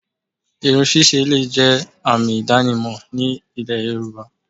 Irun ṣíṣe le è jẹ́ àmì ìdánimò ní ilẹ̀ yorùbá